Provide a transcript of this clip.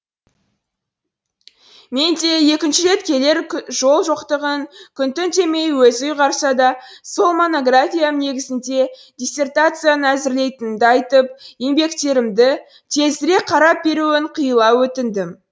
мен де екінші рет келер жол жоқтығын күн түн демей өзі ұйғарса да сол монографиям негізінде диссертацияны әзірлейтінімді айтып еңбектерімді тезірек қарап беруін қиыла өтіндім